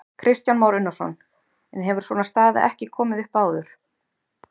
Kristján Már Unnarsson: En hefur svona staða ekki komið upp áður?